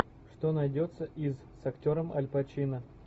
что найдется из с актером аль пачино